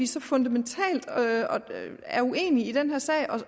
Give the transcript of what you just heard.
så fundamentalt uenige i den her sag